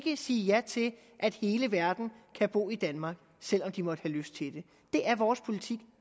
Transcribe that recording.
ikke sige ja til at hele verden kan bo i danmark selv om de måtte have lyst til det det er vores politik